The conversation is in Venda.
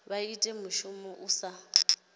vha ita mushumo u sa